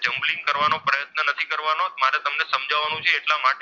તમને સમજાવવાનો છે એટલા માટે.